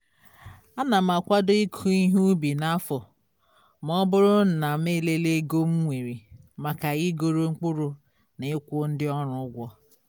ana m akwado ịkọ ihe ubi n'afọ ma ọ bụrụ na m elele ego m nwere maka igoro mkpụrụ na ịkwụ ndi ọrụ ụgwọ